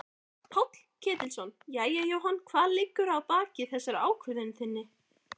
Páll Ketilsson: Jæja Jóhann hvað liggur að baki þessari ákvörðun þinni?